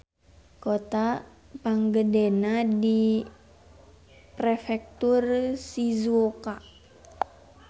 Kota panggedena di Prefektur Shizuoka.